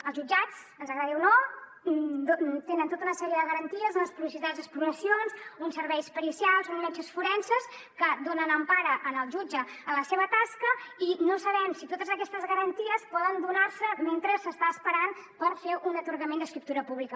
als jutjats ens agradi o no tenen tota una sèrie de garanties unes possibilitats d’exploracions uns serveis pericials uns metges forenses que donen empara al jutge en la seva tasca i no sabem si totes aquestes garanties poden donar se mentre s’està esperant per fer un atorgament d’escriptura pública